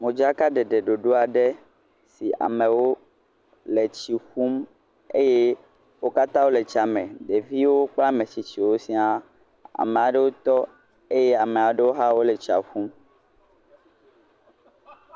Modzakaɖeɖe ɖoɖo aɖe si amewo le tsi ƒum eye wo katã le tsia me, ɖeviwo kple ametsitsiwo siaa. Ame ɖewo tɔ eye amea ɖewo hã wole tsia ƒum.